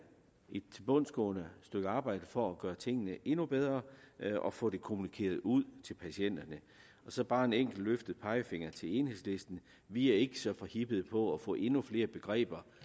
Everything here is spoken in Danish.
et tilbundsgående stykke arbejde for at gøre tingene endnu bedre og få det kommunikeret ud til patienterne så bare en enkelt løftet pegefinger til enhedslisten vi er ikke så forhippet på at få endnu flere begreber